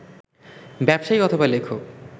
ব্যবসায়ী অথবা লেখক